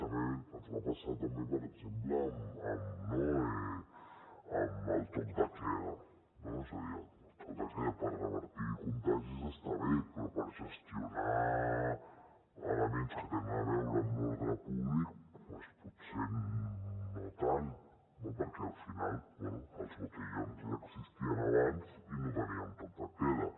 també ens va passar per exemple amb el toc de queda no és a dir el toc de queda per revertir contagis està bé però per gestionar elements que tenen a veure amb l’ordre públic doncs potser no tant no perquè al final bé els botellots ja existien abans i no teníem el toc de queda